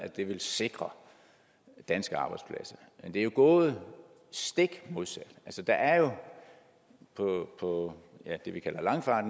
ville sikre danske arbejdspladser men det er jo gået stik modsat der er jo på det vi kalder langfart